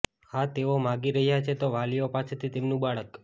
હા તેઓ માગી રહ્યા છે તો વાલીઓ પાસેથી તેમનું બાળક